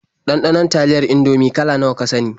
Ɗanɗanon taliyar Indomie kala nawa ka sani?